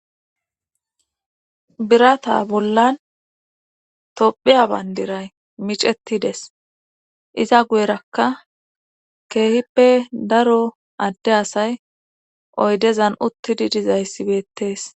birata bollan tophiya bandiray miceti des iza guyerakka keehippe daro adde asay oydezan uttidi dizayssibettees